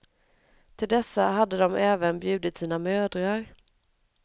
Till dessa hade de även bjudit sina mödrar.